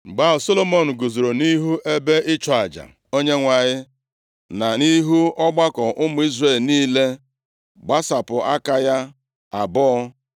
Mgbe ahụ, Solomọn guzoro nʼihu ebe ịchụ aja Onyenwe anyị, na nʼihu ọgbakọ ụmụ Izrel niile, gbasapụ aka ya abụọ.